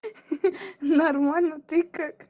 нормально ты как